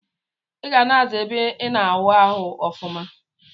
Iga na aza ebe ina awụ arụ ọfuma.